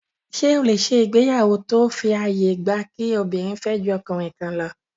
Ṣé o lè ṣe ìgbéyàwó tó fi àyè gba kí obìnrin fẹ́ ju ọkùnrin kan lọ?